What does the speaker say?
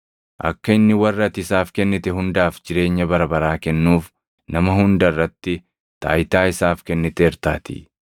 Akka inni warra ati isaaf kennite hundaaf jireenya bara baraa kennuuf, nama hunda irratti taayitaa isaaf kenniteertaatii.